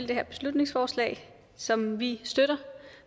det her beslutningsforslag som vi støtter